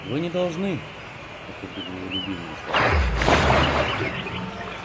вы не должны это были его любимые слова